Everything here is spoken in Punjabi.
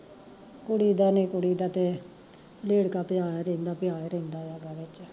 ਕੁੜੀ ਦਾ ਨੀ ਕੁੜੀ ਦਾ ਤੇ, ਰੇੜਕਾ ਪਿਆ ਈ ਰੇਂਦਾ ਪਿਆ ਰੇਂਦਾ ਆ ਗਾਰੇ ਚ